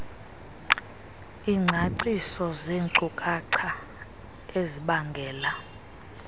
iingcaciso zeenkcukacha ezibangela